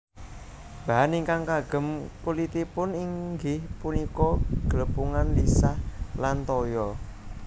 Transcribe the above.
Bahan ingkang kagem kulitipun inggih punika glepungan lisah lan toya